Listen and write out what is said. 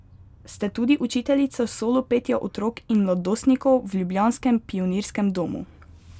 Ste tudi učiteljica solo petja otrok in mladostnikov v ljubljanskem Pionirskem domu.